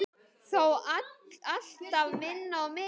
Þó alltaf minna og minna.